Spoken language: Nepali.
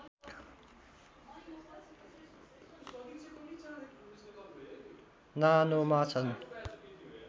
नानोमा छन्